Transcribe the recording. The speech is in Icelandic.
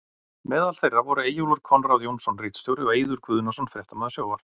Meðal þeirra voru Eyjólfur Konráð Jónsson ritstjóri og og Eiður Guðnason fréttamaður sjónvarps.